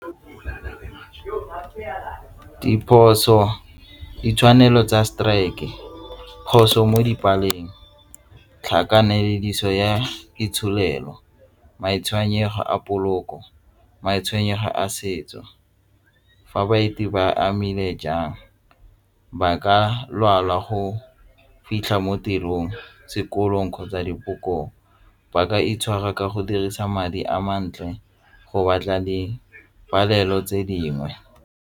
Diphoso, ditshwanelo tsa strike, phoso mo dipaleng, ya itsholelo matshwenyego a poloko matshwenyego a setso fa baeti ba amile jang ba ka lwala go fitlha mo tirong, sekolong kgotsa di ba ka itshwara ka go dirisa madi a mantle go batla di palelo tse dingwe.